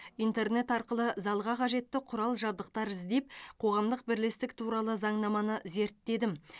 интернет арқылы залға қажетті құрал жабдықтар іздеп қоғамдық бірлестік туралы заңнаманы зерттедім